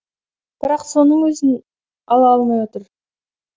бірақ соның өзін ала алмай отыр